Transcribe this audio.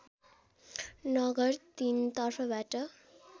नगर तीन तर्फबाट